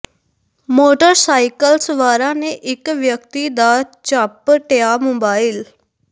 motor cycle ਸਵਾਰਾਂ ਨੇ ਇਕ ਵਿਅਕਤੀ ਦਾ ਝਪ ਟਿਆ ਮੋਬਾਈਲ